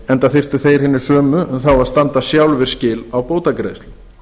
enda þyrftu þeir hinir sömu þá að standa sjálfir skil á bótagreiðslum